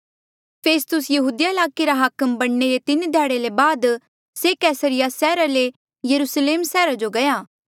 फेस्तुस यहूदिया ईलाके रा हाकम बणने रे तीन ध्याड़े ले बाद से कैसरिया सैहरा ले यरुस्लेम सैहरा जो गया